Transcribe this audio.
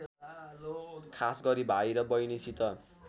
खासगरी भाइ र बहिनीसित